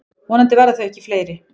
Vonandi verða þau ekki fleiri.